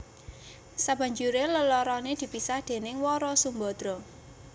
Sabanjuré leloroné dipisah déning Wara Sumbadra